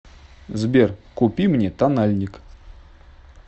сбер купи мне тональник